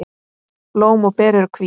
Blóm og ber eru hvít.